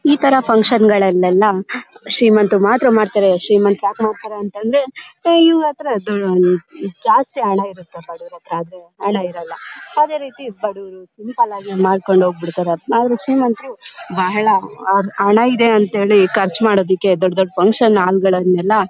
ಈ ತಾರಾ ಫಂಕ್ಷನ್ ಗಳಲ್ಲೆಲ್ಲ ಶ್ರೀಮಂತರು ಮಾತ್ರ ಮಾಡ್ತಾರೆ. ಶ್ರೀಮಂತರು ಯಾಕ ಮಾಡ್ತಾರೆ ಅಂದ್ರೆ ಇವರ ಹತ್ರ ದು ಹಮ್ ಜಾಸ್ತಿ ಹಣ ಇರುತ್ತೆ ಬಡವರ ಹತ್ರ ಹಣ ಇರಲ್ಲ. ಅದೇ ರೀತಿ ಹಮ್ ಸಿಂಪಲ್ ಆಗಿ ಮಾಡ್ಕೊಂಡು ಹೋಗ್ಬಿಡ್ತಾರೆ. ಆದರೆ ಶ್ರೀಮಂತರು ಬಹಳ ಅವರ ಹತ್ರ ಹಣ ಇದೆ ಅಂತ ಹೇಳಿ ಖರ್ಚು ಮಾಡೋದಕ್ಕೆ ದೊಡ್ ದೊಡ್ಡ ಫಂಕ್ಷನ್ ಹಾಲ್ ಗಳನ್ನ --